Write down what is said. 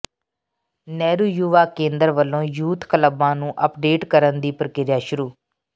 ਨਹਿਰੂ ਯੁਵਾ ਕੇਂਦਰ ਵੱਲੋਂ ਯੂਥ ਕਲੱਬਾਂ ਨੂੰ ਅੱਪਡੇਟ ਕਰਨ ਦੀ ਪ੍ਰਕਿਰਿਆ ਸ਼ੁਰੂ